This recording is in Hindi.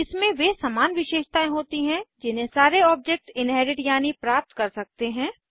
इसमें वे समान विशेषतायें होती हैं जिन्हे सारे ऑब्जेक्ट्स इन्हेरिट यानि प्राप्त कर सकते हैं